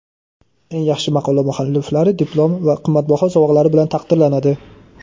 Eng yaxshi maqola mualliflari diplom va qimmatbaho sovg‘alar bilan taqdirlanadi.